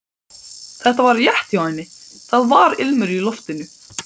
Þetta var rétt hjá henni, það var ilmur í loftinu.